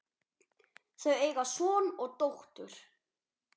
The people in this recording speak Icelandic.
Þau eiga son og dóttur.